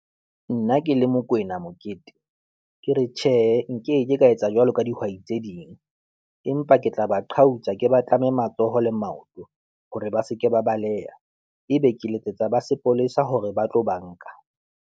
Nna ke le Mokwena Mokete, ke re tjhehe nkeke ka etsa jwalo ka dihwai tse ding empa ke tla ba qhautsa, ke ba tlame matsoho le maoto hore ba se ke ba baleha. Ebe ke letsetsa ba sepolesa hore ba tlo ba nka.